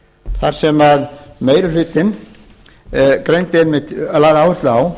þar sem meiri hlutinn lagði áherslu á